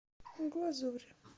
глазурь